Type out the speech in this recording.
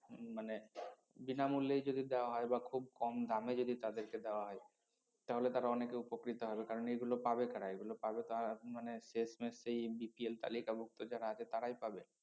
উম মানে বিনামূল্যেই যদি দেওয়া হয় বা খুব কম দামে যদি তদেরকে দেওয়া হয় তাহলে তারা অনেকে উপকৃত হবে কারন এইগুলো পাবে কারা এইগুলো পাবে তা মানে শেষমেষ তো এই BPL তালিকাভুক্ত যারা আছে তারাই পাবে